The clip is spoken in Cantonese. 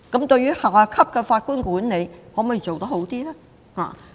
對於下級法官的管理，可否做得更好？